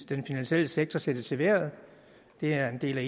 den finansielle sektor sættes i vejret det er en del